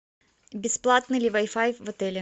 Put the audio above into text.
бесплатный ли вай фай в отеле